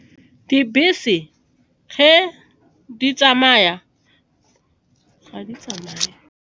Dibese di tsamaya, ga di tsamaye.